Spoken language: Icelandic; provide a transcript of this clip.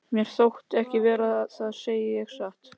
Mér þótti það ekki verra, það segi ég satt.